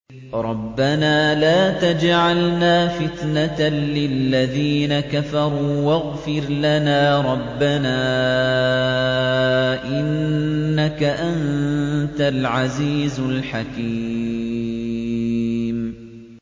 رَبَّنَا لَا تَجْعَلْنَا فِتْنَةً لِّلَّذِينَ كَفَرُوا وَاغْفِرْ لَنَا رَبَّنَا ۖ إِنَّكَ أَنتَ الْعَزِيزُ الْحَكِيمُ